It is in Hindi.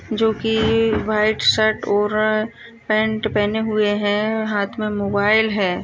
जो की व्हाइट शर्ट और पेन्ट पहने हुए है हाथ मे मोबाईल हैं ।